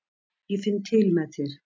Ég finn til með þér.